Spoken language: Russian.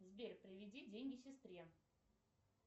сбер переведи деньги сестре